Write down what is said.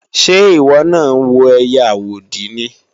Ṣé ìwọ náà ń wo ẹiyẹ àwòdì ni?